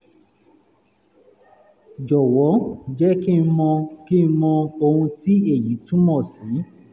jọ̀wọ́ jẹ́ kí n mọ kí n mọ ohun tí èyí túmọ̀ sí